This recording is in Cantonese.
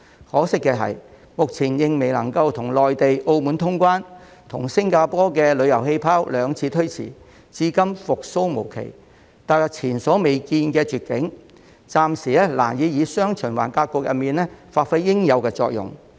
可惜的是，香港目前仍然未能與內地及澳門通關，與新加坡的"旅遊氣泡"兩次推遲，至今復蘇無期，踏入前所未見的絕境，暫時難以在"雙循環"格局中發揮應有的作用。